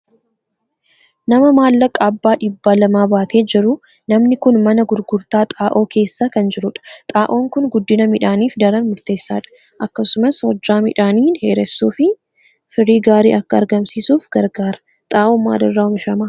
Nama maallaqa abbaa dhibba lamaa baatee jiru. Namni kun mana gurgurtaa xaa'oo keessa kan jirudha. Xaa'oon kun guddina midhaaniif daran murteessaadh. Akkasumas Hojjaa midhaanii dheeressuu fi firii gaarii akka argamsiisuuf gargaara. Xaa'oon maalirraa oomishama?